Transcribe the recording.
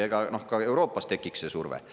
Ega ka Euroopas tekiks see surve.